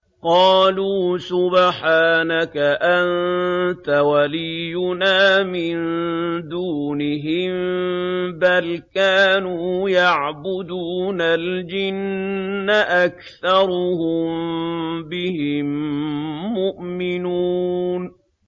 قَالُوا سُبْحَانَكَ أَنتَ وَلِيُّنَا مِن دُونِهِم ۖ بَلْ كَانُوا يَعْبُدُونَ الْجِنَّ ۖ أَكْثَرُهُم بِهِم مُّؤْمِنُونَ